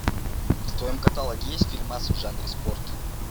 в твоем каталоге есть фильмас в жанре спорт